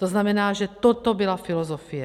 To znamená, že toto byla filozofie.